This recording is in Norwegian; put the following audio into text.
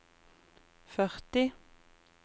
førti